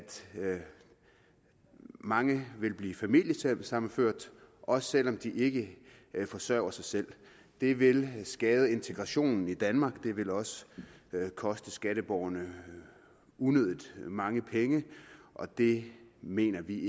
mange ville blive familiesammenført også selv om de ikke forsørger sig selv det vil skade integrationen i danmark det vil også koste skatteborgerne unødig mange penge og det mener vi